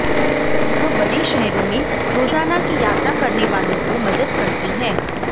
यह बड़े शहरों में रोजाना की यात्रा करने वालों को मदद करती है